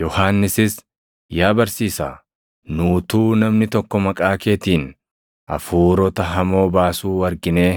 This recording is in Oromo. Yohannisis, “Yaa Barsiisaa, nu utuu namni tokko maqaa keetiin hafuurota hamoo baasuu arginee